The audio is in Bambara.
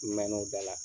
N mɛn'o da la